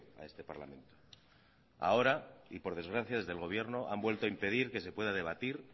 a este parlamento ahora y por desgracia desde el gobierno han vuelto a impedir que se pueda debatir